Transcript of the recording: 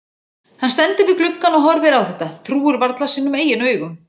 Hann stendur við gluggann og horfir á þetta, trúir varla sínum eigin augum.